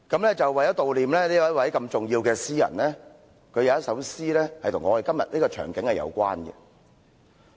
我想悼念這位如此重要的詩人，他有一首詩與我們今天的場景有關。